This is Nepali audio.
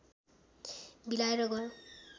बिलाएर गयो